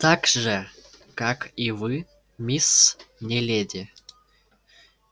так же как и вы мисс не леди